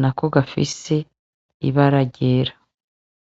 na ko gafise ibara ryera.